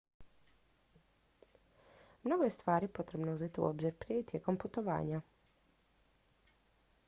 mnogo je stvari potrebno uzeti u obzir prije i tijekom putovanja